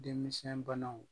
Denmisɛn banaw